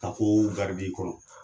Ka ko i kɔrɔ.